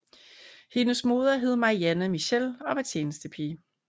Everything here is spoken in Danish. Hendes moder hed Marianne Michel og var tjenestepige